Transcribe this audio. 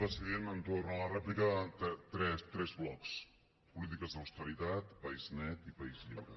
president entorn de la rèplica tres blocs polítiques d’austeritat país net i país lliure